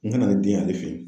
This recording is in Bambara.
N kana aw den y'ale fe yen